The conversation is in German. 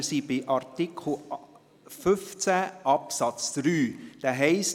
Wir sind bei Artikel 15 Absatz 3, welcher heisst: